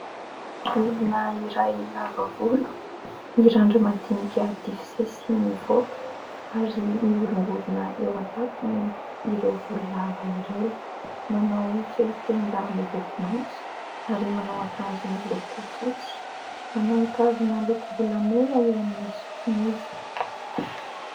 Olona iray lava volo mirandra-madinika divy sesy mivoaka ary mihorongorona eo an-tampony ireo volo lava ireo, manao fehi-tenda miloko maitso ary manao akanjo miloko fotsy, manao kavina lokom-bolamena eo amin'ny sofiny izy.